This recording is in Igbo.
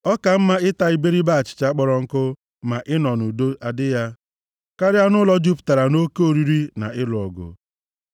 Ọ ka mma ịta iberibe achịcha kpọrọ nkụ ma ịnọ nʼudo adị ya, karịa nʼụlọ jupụtara nʼoke oriri na ịlụ ọgụ.